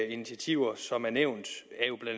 initiativer som er nævnt